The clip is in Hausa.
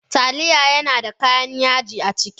Taliya yana da kayan yaji a ciki.